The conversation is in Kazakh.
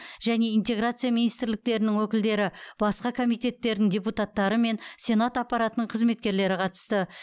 және интеграция министрліктерінің өкілдері басқа комитеттердің депутаттары мен сенат аппаратының қызметкерлері қатысты